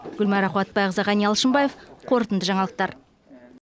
гүлмайра қуатбайқызы ғани алшынбаев қорытынды жаңалықтыр